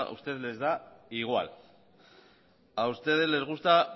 ustedes les da igual a ustedes les gusta